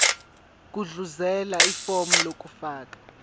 gudluzela ifomu lokufaka